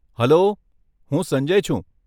Hello, હું સંજય છું.